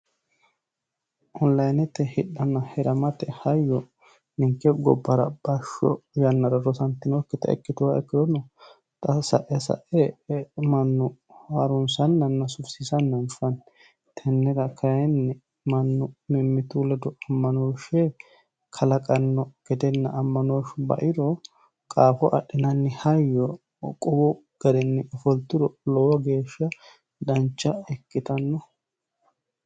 Oniliynete hidhanna hiramate hayyo ninke gobara basho yannara rosantinokita ikituha ikirono xa sae sae manu harunsananna sufisiissanna anfanni tennera kayinni manu mimitu ledo amanooshe alaqano gedenna amanooshu bairo qaafo adhinanni hayyo qoqowu garinni fulturo lowo geesha Dancha ikitanno.